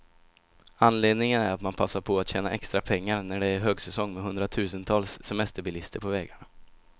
Anledningen är att man passar på att tjäna extra pengar, när det är högsäsong med hundratusentals semesterbilister på vägarna.